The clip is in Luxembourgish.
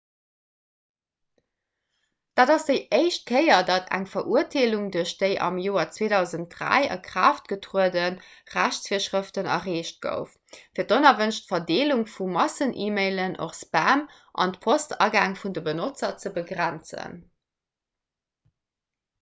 dat ass déi éischt kéier datt eng verurteelung duerch déi am joer 2003 a kraaft getruede rechtsvirschrëften erreecht gouf fir d'onerwënscht verdeelung vu massen-e-mailen och spam genannt an d'postagäng vun de benotzer ze begrenzen